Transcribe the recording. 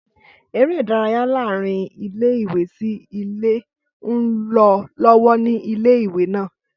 Ẹré ìdárayá láàárín ilé sí ilé ń lọ lọ́wọ́ ni ilé ìwé náà